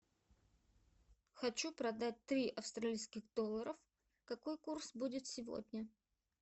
хочу продать три австралийских доллара какой курс будет сегодня